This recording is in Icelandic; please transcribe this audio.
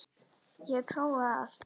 Ég hef prófað allt!